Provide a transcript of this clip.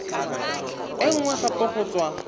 e nngwe gape go tswa